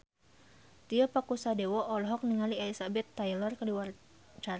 Tio Pakusadewo olohok ningali Elizabeth Taylor keur diwawancara